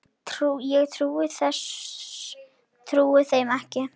Ég trúði þeim ekki.